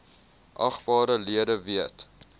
agbare lede weet